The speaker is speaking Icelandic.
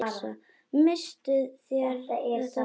Misstuð þér þetta, frú!